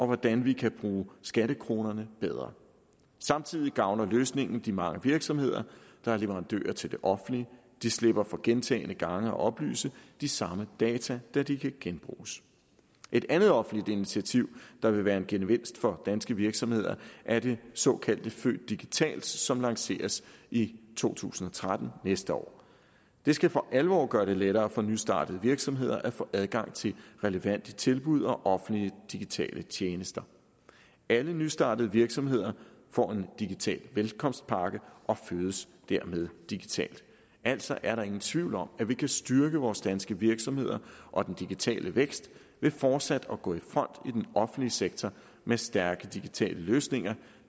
hvordan vi kan bruge skattekronerne bedre samtidig gavner løsningen de mange virksomheder der er leverandører til det offentlige de slipper for gentagne gange at oplyse de samme data da de kan genbruges et andet offentligt initiativ der vil være en gevinst for danske virksomheder er det såkaldte født digital som lanceres i to tusind og tretten næste år det skal for alvor gøre det lettere for nystartede virksomheder at få adgang til relevante tilbud og offentlige digitale tjenester alle nystartede virksomheder får en digital velkomstpakke og fødes dermed digitalt altså er der ingen tvivl om at vi kan styrke vores danske virksomheder og den digitale vækst ved fortsat at gå i front i den offentlige sektor med stærke digitale løsninger